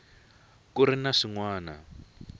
ku ri na swin wana